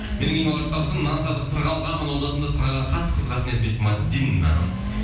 менің ең алғашқы табысым нан сатып сырға алғанмын ол жасымда сырғаға қатты қызығатын едім дейді мәдина